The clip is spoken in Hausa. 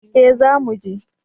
eh za mu je